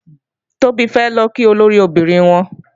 Tóbi fẹ́ lọ kí olóríẹbí obìnrin wọn